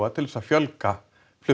til að fjölga flugi